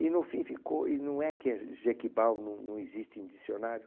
E, no fim, ficou... E não é que Jequibau não não existe em dicionário?